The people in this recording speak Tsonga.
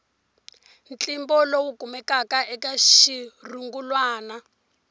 ntlimbo lowu kumekaka eka xirungulwana